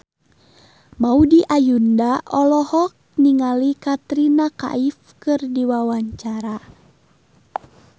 Maudy Ayunda olohok ningali Katrina Kaif keur diwawancara